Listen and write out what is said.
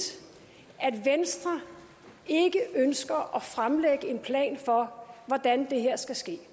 at venstre ikke ønsker at fremlægge en plan for hvordan det her skal ske